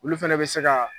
Olu fɛnɛ bɛ se ka